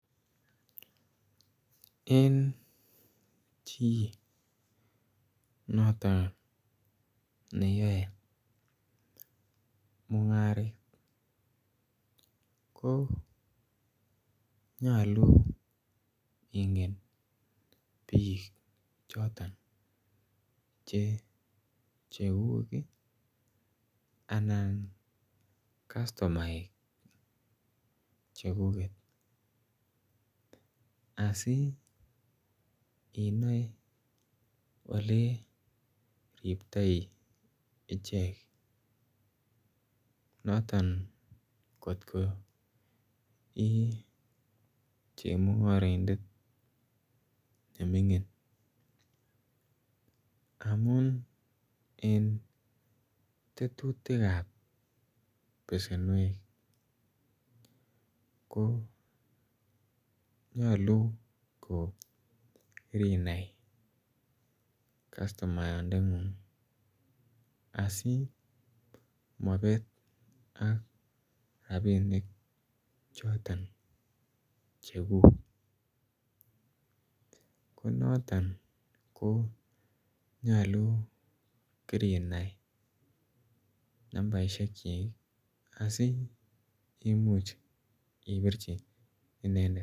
Eng chii notoon ne yae mungaret ko nyaluu ingeen biik chotoon che chegug ii anan customaek chekuket asi inae ole riptoi icheek notoon kot ko ii chemungaraindet ne mingiin amuun en tetutik ab besenweek ko nyaluu ko kiranai customayaat ndet nguung asimabet ak rapink chotoon chegug ko notoon ko nyaluu kirinai nambarisheek kyik asikomuuch ibirjii inendet.